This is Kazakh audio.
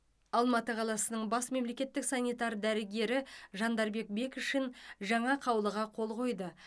алматы қаласының бас мемлекеттік санитар дәрігері жандарбек бекшин жаңа қаулыға қол қойды